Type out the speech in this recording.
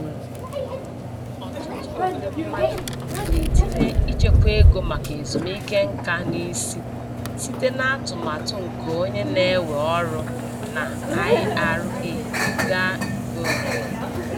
Ọtụtụ ndị mmadụ na-etinye ichekwa ego maka ezumike nka n'isi site n'atụmatụ nke onye na-ewe ọrụ na IRA ga nke onwe.